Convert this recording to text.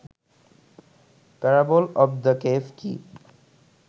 parable of the cave key